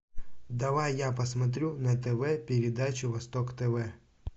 давай я посмотрю на тв передачу восток тв